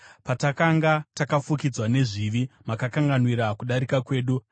Patakanga takafukidzwa nezvivi, makakanganwira kudarika kwedu.